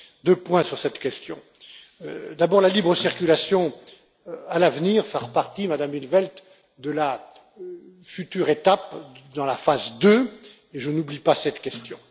Deux points sur cette question d'abord la libre circulation, à l'avenir, fera partie, Madame in't Veld, de la future étape dans la phase deux, mais je n'oublie pas cette question.